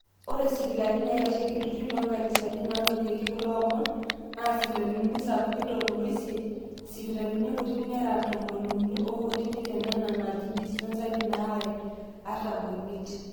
ore sipitalini naaitasheiki ilturruri loonkanisani naanotieki kulo omon naa isipitalini sapuki tomon oisiet, isipitalini kutitik nera tomoni uni onkutitik tenena naaji dispensary naare artam oimiet